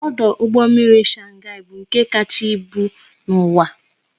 Ọdụ ụgbọ mmiri Shanghai bụ nke kacha ịbụ n'uwa